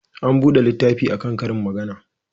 An buga littafi a kan karin magana.